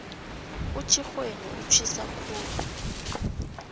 utjhixweni utjhisa khulu